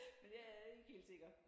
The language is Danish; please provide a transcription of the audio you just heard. Men jeg er ikke helt sikker